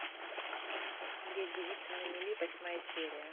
две девицы на мели восьмая серия